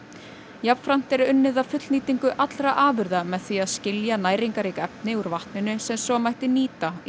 jafnframt er unnið að fullnýtingu allra afurða með því að skilja næringarrík efni úr vatninu sem svo mætti nýta í